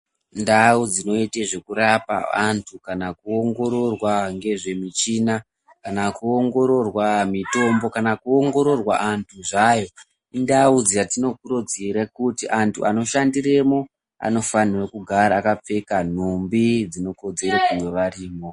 Ndau dzinoyita nezvekurapa vantu kana kuongororwa ngezve michina ,kana kuongororwa mitombo, kana kuongo rorwa antu zvayo, indau dzatinokurudzira kuti antu ano shandiremo, anofanirwa kugara vakapfeka nhumbi dzino kodzera kunge varimo.